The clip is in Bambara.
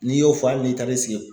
N'i y'o fɔ hali n'i taara sigi